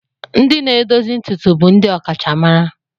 Ndị na-edozi ntutu bụ ndị ọkachamara.